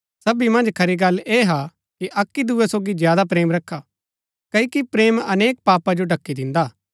सबी मन्ज खरी गल्ल ऐह हा कि अक्की दूये सोगी ज्यादा प्रेम रखा क्ओकि प्रेम अनेक पापा जो ढ़की दिन्दा हा